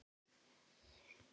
Þar með var málið útrætt.